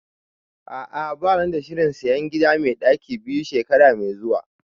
A'ah bana da shirin sayan gida mai ɗaki biyu shekara mai zuwa